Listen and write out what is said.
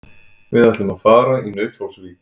Við ætlum að fara í Nauthólsvík.